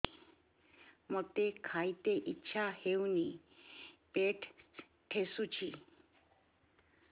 ମୋତେ ଖାଇତେ ଇଚ୍ଛା ହଉନି ପେଟ ଠେସୁଛି